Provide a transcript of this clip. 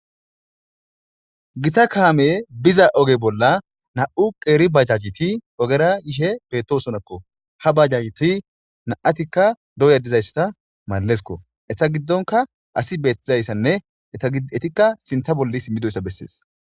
Gita kaamey yiza oge bolla nam'u qeeri banajeti yishe beetosona. Ha bajajeti nam'atika dooya dizaysa mallesiko. Eeta giddonka asi beetizaysanne eetika sintha bolla simmidoysa bessees.